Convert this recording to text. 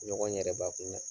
Ɲɔgɔn yɛrɛbakun